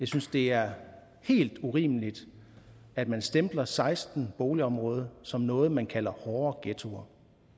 synes det er helt urimeligt at man stempler seksten boligområder som noget man kalder hårde ghettoer